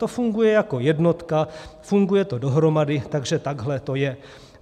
To funguje jako jednotka, funguje to dohromady, takže takhle to je.